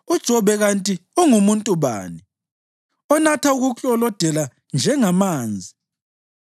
UJobe kanti ungumuntu bani, onatha ukuklolodela njengamanzi?